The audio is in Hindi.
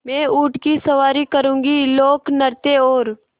मैं ऊँट की सवारी करूँगी लोकनृत्य और